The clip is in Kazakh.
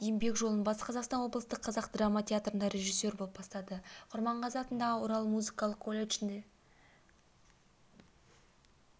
еңбек жолын батыс қазақстан облыстық қазақ драма театрында режиссер болып бастады құрманғазы атындағы орал музыкалық колледжінде